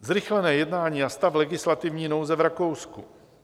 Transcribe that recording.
Zrychlené jednání a stav legislativní nouze v Rakousku.